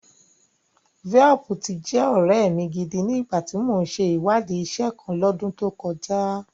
Velp ti jẹ́ ọ̀rẹ́ mi gidi ni ìgbà tí mò ń ṣe ìwádìí iṣẹ́ kan L'ọ́dún tó kọjá